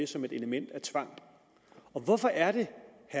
som et element af tvang og hvorfor er det